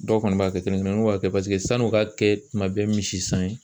Dɔw kɔni b'a kɛ, kelen kelen niw b'a kɛ paseke sanni u ka kɛ tuma bɛɛ misi san ye